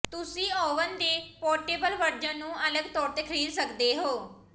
ਤੁਸੀਂ ਓਵਨ ਦੇ portable version ਨੂੰ ਅਲੱਗ ਤੌਰ ਤੇ ਖਰੀਦ ਸਕਦੇ ਹੋ